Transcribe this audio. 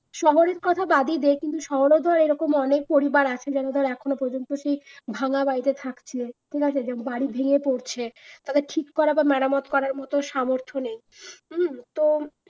শহরের কথা বাদই দেই, কিন্তু শহরেও তো এরকম অনেক পরিবার আছে যারা ধর এখনো পর্যন্ত সেই ভাঙা বাড়িতে থাকছে ঠিক আছে বাড়ি ভেঙে পড়ছে, তারপর ঠিক করা বা মেরামত করার মতো সামর্থ্য নেই হুম তো